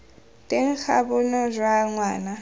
teng ga bonno jwa ngwana